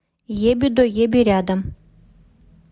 ебидоеби рядом